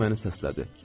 Kimsə məni səslədi.